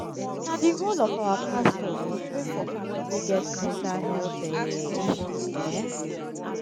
na di role of our pastors to pray for pipo wey get mental health um issue. um